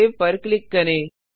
save click करें